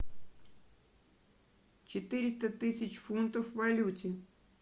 четыреста тысяч фунтов в валюте